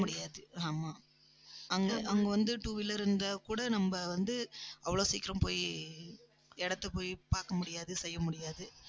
போக முடியாது. ஆமா. அங்க அங்க வந்து, two wheeler இருந்தா கூட, நம்ம வந்து அவ்வளவு சீக்கிரம் போய் இடத்தை போய் பார்க்க முடியாது செய்ய முடியாது